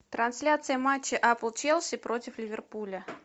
трансляция матча апл челси против ливерпуля